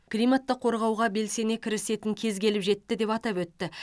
климатты қорғауға белсене кірісетін кез келіп жетті деп атап өтті